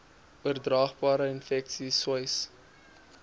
oordraagbare infeksies sois